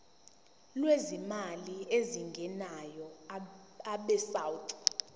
lwezimali ezingenayo abesouth